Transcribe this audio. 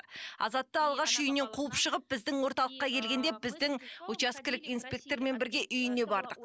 азатты алғаш үйінен қуып шығып біздің орталыққа келгенде біздің учаскелік инспектормен бірге үйіне бардық